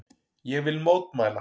Ég vil mótmæla.